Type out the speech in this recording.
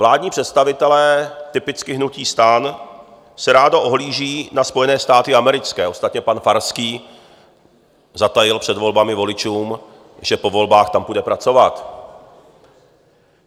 Vládní představitelé - typicky hnutí STAN se rádo ohlíží na Spojené státy americké, ostatně pan Farský zatajil před volbami voličům, že po volbách tam půjde pracovat.